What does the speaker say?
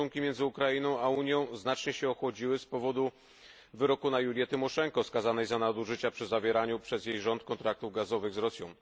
stosunki między Ukrainą i Unią znacznie się ochłodziły z powodu wyroku na Julię Timoszenko, skazaną za nadużycia przy zawieraniu przez jej rząd kontraktów gazowych z Rosją.